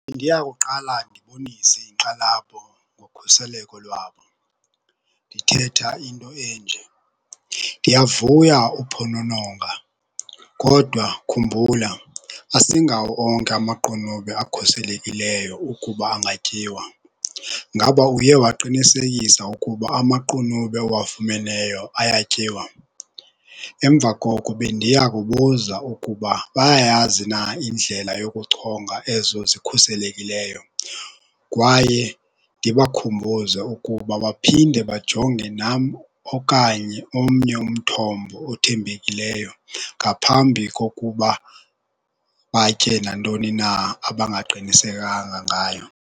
Bendiya kuqala ndibonise inkxalabo ngokhuseleko lwabo ndithetha into enje, ndiyavuya uphonononga kodwa khumbula asingawo onke amaqunube akhuselekileyo ukuba angatyiwa. Ngaba uye waqinisekisa ukuba amaqunube owafumeneyo ayatyiwa? Emva koko bendiya kubuza ukuba bayayazi na indlela yokuchonga ezo zikhuselekileyo kwaye ndibakhumbuze ukuba baphinde bajonge nam okanye omnye umthombo othembekileyo ngaphambi kokuba batye nantoni na abangaqinisekanga ngayo.